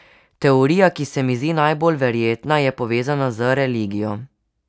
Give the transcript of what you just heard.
Teorija, ki se mi zdi najbolj verjetna, je povezana z religijo.